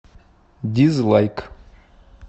дизлайк